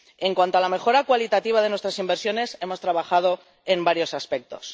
En cuanto a la mejora cualitativa de nuestras inversiones, hemos trabajado en varios aspectos.